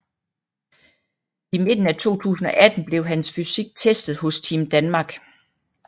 I midten af 2018 blev hans fysik testet hos Team Danmark